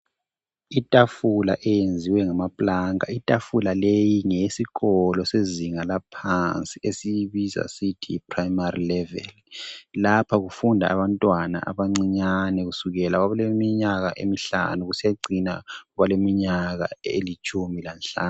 itafula eyenziwe ngamaplanka itafula leyi ngeyesikolo sezinga laphansi esiyibiza sisithi si primary level lapha kufunda abantwana abancinyane kusukela oleminyaka emihlanu kusiyacina koleminyaka elitshumi lanhlanu